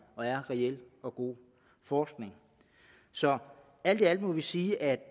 og reel og god forskning så alt i alt må vi sige at